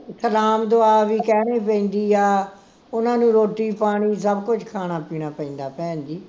ਸਲਾਮ ਦੁਆ ਵੀ ਕਹਿਣੀ ਪੈਂਦੀ ਆ, ਓਹਨਾ ਨੂੰ ਰੋਟੀ ਪਾਣੀ ਸਭ ਕੁਝ ਖਾਣਾ ਪੀਣਾ ਪੈਂਦਾ ਆ, ਭੈਣਜੀ